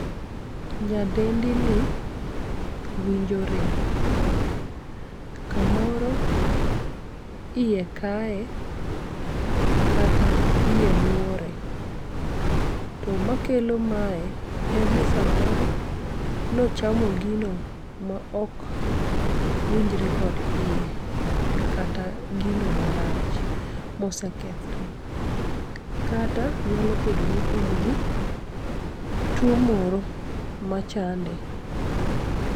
Nyadendini winjo rem, kamoro iye kaye, kata iye muore. To makelo mae en ni samoro nochamo gino maok winjre kod iye, kata gino marach mosekethre, kata nyalo bedoni en gi tuo moro machande.